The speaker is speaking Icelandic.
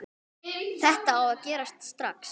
Þetta á að gerast strax.